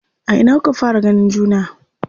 A ina kuka fara ganin juna?